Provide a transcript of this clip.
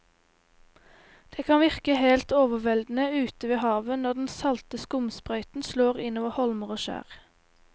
Det kan virke helt overveldende ute ved havet når den salte skumsprøyten slår innover holmer og skjær.